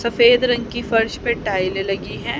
सफेद रंग की फर्श पे टाइलें लगी है।